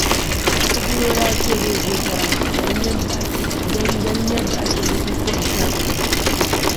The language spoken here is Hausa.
Ibro ya ce zai je Taraba don ganin yadda ake bukukkuwan shaɗi.